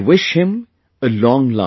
I wish him a long life